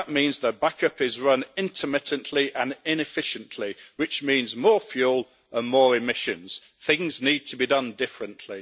That means that backup is run intermittently and inefficiently, which means more fuel and more emissions. Things need to be done differently.